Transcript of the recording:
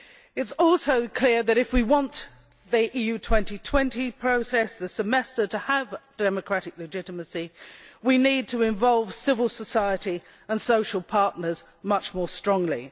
It is also clear that, if we want the EU 2020 process, the Semester, to have democratic legitimacy, we need to involve civil society and social partners much more strongly.